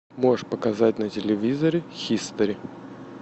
можешь показать на телевизоре хистори